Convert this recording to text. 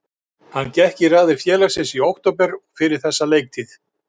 Hann gekk í raðir félagsins í október og fyrir þessa leiktíð.